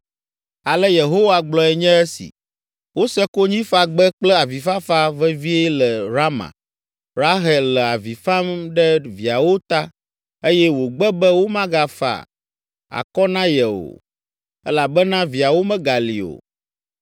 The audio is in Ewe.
Ale Yehowa gblɔe nye esi: “Wose konyifagbe kple avifafa vevie le Rama, Rahel le avi fam ɖe viawo ta eye wògbe be womegafa akɔ na ye o, elabena viawo megali o.”